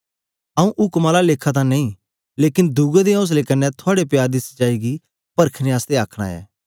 आंऊँ उक्म आला लेखा तां नेई लेकन दुए दे औसले कन्ने थुआड़े प्यार दी सच्चाई गी परखने आसतै आखन ऐ